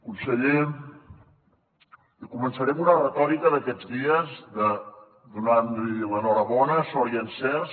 conseller començaré amb una retòrica d’aquests dies donant li l’enhorabona sort i encerts